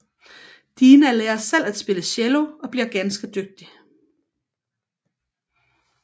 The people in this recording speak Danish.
Dina lærer selv at spille cello og bliver ganske dygtig